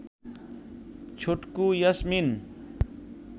Chhotku Yasmin